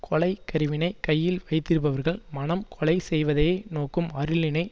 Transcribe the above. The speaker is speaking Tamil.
கொலை கருவியினைக் கையில் வைத்திருப்பவர்கள் மனம் கொலை செய்வதையே நோக்கும் அருளினை